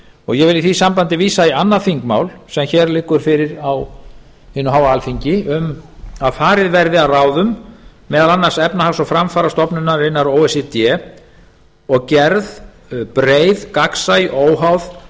og ég vil í því sambandi vísa í annað þingmál sem hér liggur fyrir á hinu háa alþingi um að farið verði að ráðum meðal annars efnahags og framfarastofnunarinnar o e c d og gerð breið gagnsæ óháð